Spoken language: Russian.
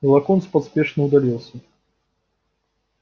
и локонс поспешно удалился